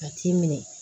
A t'i minɛ